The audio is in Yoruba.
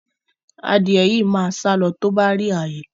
Adìẹ yìí máa sálọ tó bá rí ààyè